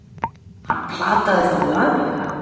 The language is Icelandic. Hann plataði þá laglega!